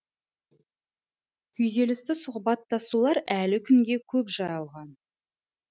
күйзелісті сұхбаттасулар әлі күнге көп жайылған